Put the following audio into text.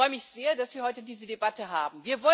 Ich freue mich sehr, dass wir heute diese Debatte haben.